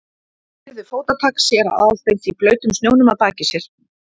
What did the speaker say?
Hann heyrði fótatak séra Aðalsteins í blautum snjónum að baki sér.